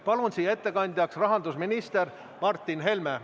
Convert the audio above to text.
Palun siia ettekandjaks rahandusminister Martin Helme.